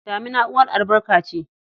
Damina uwar albarka ce.